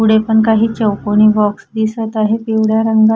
पुढे पण काही चौकोनी बॉक्स दिसत आहे पिवळ्या रंग--